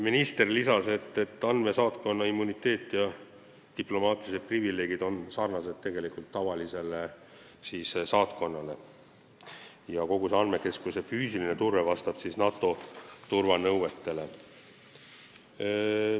Minister lisas, et andmesaatkonna immuniteet ja diplomaatilised privileegid on sarnased tavalise saatkonna omadega ja kogu andmekeskuse füüsiline turve vastab NATO turvanõuetele.